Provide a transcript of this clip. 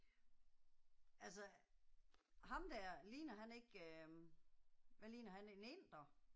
Altså ham der, ligner han ikke øh. Hvad ligner han en inder?